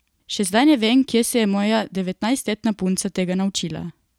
Še zdaj ne vem, kje se je moja devetnajstletna punca tega naučila.